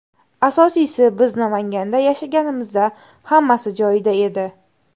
Asosiysi, biz Namanganda yashaganimizda hammasi joyida edi.